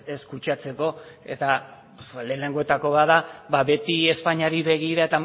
ez kutsatzeko eta lehenengoetako bat da beti espainiari begira